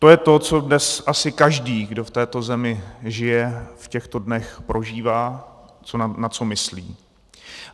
To je to, co dnes asi každý, kdo v této zemi žije, v těchto dnech prožívá, na co myslí.